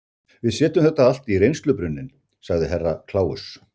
Við setjum þetta allt í reynslubrunninn, sagði Herra Kláus.